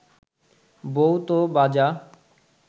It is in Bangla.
বউ ত বাঁজা